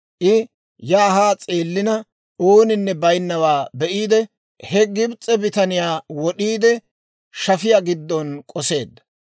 I yaa haa s'eellina, ooninne baynnawaa be'iide, he Gibs'e bitaniyaa; wod'iide shafiyaa giddon k'oseedda.